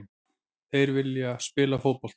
Þeir vilja spila fótbolta.